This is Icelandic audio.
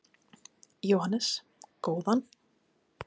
Jóhannes: Góðan?